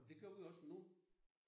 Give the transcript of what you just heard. Det gør man også nu